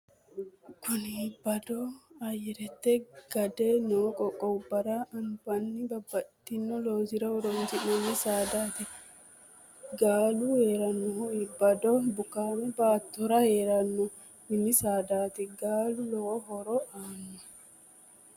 kuni iibado ayyarete gade noo qoqqowubbara anfanni babbaxxino loosira horonsi'nanni saadati. gaalu heerannohu ibado bukaame baatora heeranno mini sadati. gaalu lowo horo aanno.